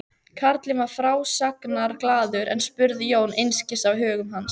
Karlinn var frásagnarglaður en spurði Jón einskis af högum hans.